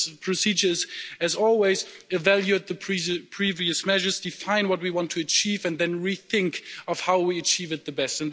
This procedure, as always, is to evaluate the previous measures, define what we want to achieve and then rethink how we achieve it the best.